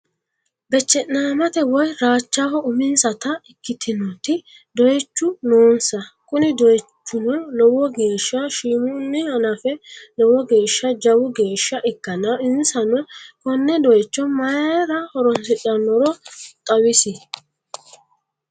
Beeche'namate woy raachaho uminsata ikkitinoti doyichu noonsa kuni doychino lowo geeshsa shimunni hanafe lowo geeshsa jawu geeshsa ikkanna insano konne doycho mayira horonsidhannoro xawis?